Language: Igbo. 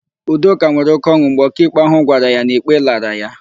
Udoka nwere oke ọn̄ụ mgbe ọkaikpe ahụ gwara ya na ikpe lara ya.